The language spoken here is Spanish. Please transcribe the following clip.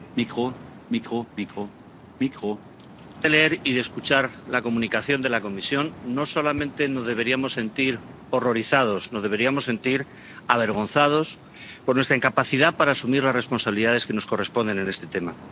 Señor presidente, después de leer y de escuchar la Comunicación de la Comisión no solamente nos deberíamos sentir horrorizados nos deberíamos sentir avergonzados por nuestra incapacidad para asumir las responsabilidades que nos corresponden en este tema.